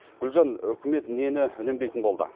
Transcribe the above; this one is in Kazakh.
гулжан үкімет нені үнемдейтін болды